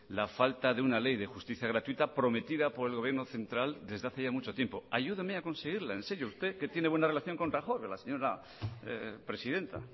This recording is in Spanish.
la falta de una ley de justicia gratuita prometida por el gobierno central desde hace ya mucho tiempo ayúdeme a conseguirla en serio usted que tiene buena relación con rajoy señora presidenta